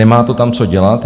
Nemá to tam co dělat.